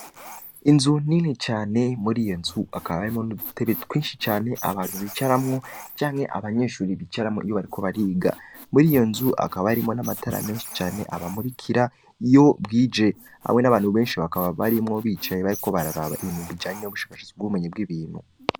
Inzu nini cane, muri iyo nzu hakaba harimwo n’udutebe twinshi cane, abantu bicaramwo, canke abanyeshuri bicaramwo iyo bariko bariga; muri iyo nzu hakaba harimwo n’amatara menshi cane abamurikira iyo bwije; hamwe n’abantu benshi bakaba barimwo, bicaye bariko bararaba ibintu bijanye n’ubushakashatsi bw’ubumenyi bw’ibintu.